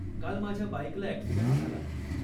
काल माझ्या बाईकला अॅक्सिडंट झाला.